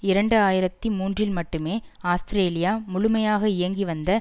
இரண்டு ஆயிரத்தி மூன்றில் மட்டுமே ஆஸ்திரேலியா முழுமையாக இயங்கி வந்த